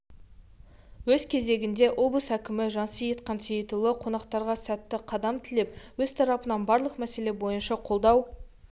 өз кезегінде облыс әкімі жансейіт қансейітұлы қонақтарға сәтті қадам тілеп өз тарапынан барлық мәселе бойынша қолдау